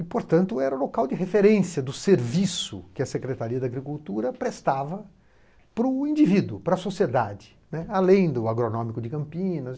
E, portanto, era o local de referência do serviço que a Secretaria da Agricultura prestava para o indivíduo, para a sociedade, né, além do agronômico de Campinas.